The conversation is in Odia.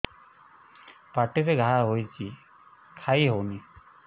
ପାଟିରେ ଘା ହେଇଛି ଖାଇ ହଉନି